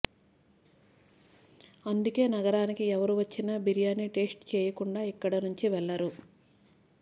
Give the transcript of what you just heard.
అందుకే నగరానికి ఎవరు వచ్చిన బిర్యానీ టేస్ట్ చేయకుండా ఇక్కడ నుంచి వెళ్లరు